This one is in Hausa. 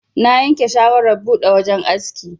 Na yanke shawarar buɗe wajan aski.